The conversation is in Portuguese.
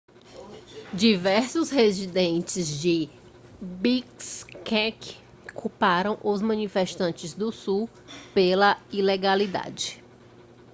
diversos residentes de bishkek culparam os manifestantes do sul pela ilegalidade